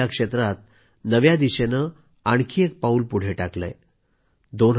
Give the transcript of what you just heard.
देशाने या क्षेत्रात नवीन दिशेने आणखी एक पाऊल पुढे टाकलंय